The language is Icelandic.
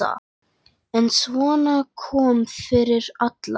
En svona kom fyrir alla.